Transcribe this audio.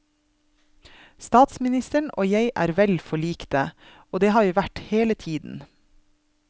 Statsministeren og jeg er vel forlikte, og det har vi vært hele tiden.